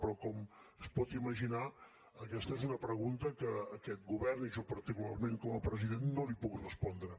però com es pot imaginar aquesta és una pregunta que aquest govern i jo particularment com a president no li puc respondre